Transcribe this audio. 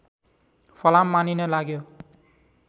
फलाम मानिन लाग्यो